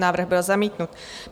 Návrh byl zamítnut.